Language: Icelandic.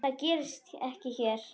Það gerist ekki hér.